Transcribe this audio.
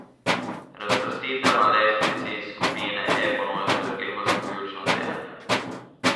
Razvrstitev na lestvici skupine E ponuja srhljivo zaključno dejanje.